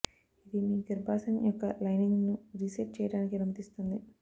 ఇది మీ గర్భాశయం యొక్క లైనింగ్ ను రీసెట్ చేయడానికి అనుమతిస్తుంది